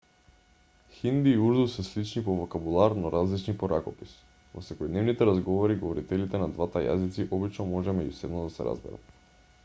хинди и урду се слични по вокабулар но различни по ракопис во секојдневните разговори говорителите на двата јазици обично може меѓусебно да се разберат